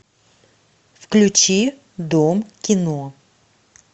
включи дом кино